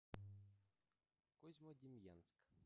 козьмодемьянск